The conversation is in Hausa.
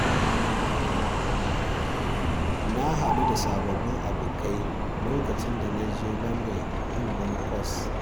Na haɗu da sababbin abokai lokacin da na je London yin wani kwas.